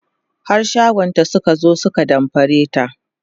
har shagonta Suka zo su ka damfare ta